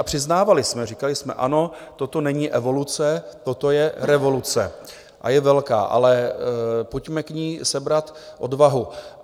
A přiznávali jsme, říkali jsme: Ano, toto není evoluce, toto je revoluce a je velká, ale pojďme k ní sebrat odvahu.